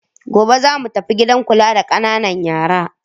Gobe za mu tafi gidan kula da ƙananan yara.